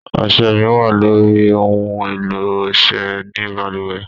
Ọṣẹ mí wá loyri ohùn èlò ọṣẹ ní balùwẹ̀.